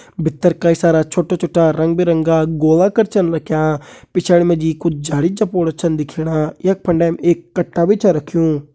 भितर कई सारा छोटा छोटा रंग बिरंगा गोला कर छन रख्यां पिछाड़ी मा जी कुछ झाड़ी झपोड़ छन दिखेणा यख फंडेम एक कट्टा भी छा रख्युं।